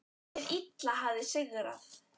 Hið illa hafði sigrað.